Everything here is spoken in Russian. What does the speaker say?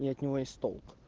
и от него есть толк